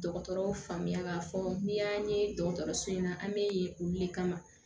Dɔgɔtɔrɔw faamuya k'a fɔ n'i y'a ye dɔgɔtɔrɔso in na an bɛ yen olu de kama